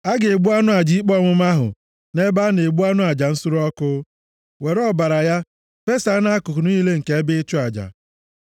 A ga-egbu anụ aja ikpe ọmụma ahụ nʼebe a na-egbu anụ aja nsure ọkụ, were ọbara ya fesaa nʼakụkụ niile nke ebe ịchụ aja.